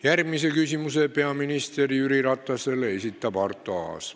Järgmise küsimuse peaminister Jüri Ratasele esitab Arto Aas.